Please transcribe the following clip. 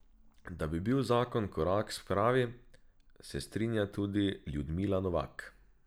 Da bi bil zakon korak k spravi, se strinja tudi Ljudmila Novak.